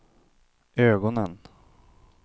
ögonen